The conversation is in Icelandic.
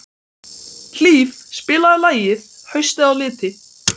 Hlíf, spilaðu lagið „Haustið á liti“.